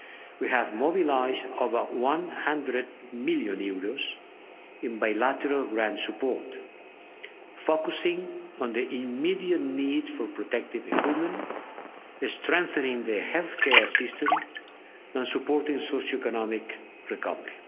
We have mobilised over EUR 100 million in bilateral grant support, focusing on the immediate need for protective equipment, strengthening the healthcare system and supporting socio economic recovery.